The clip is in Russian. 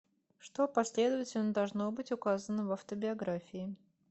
что последовательно должно быть указано в автобиографии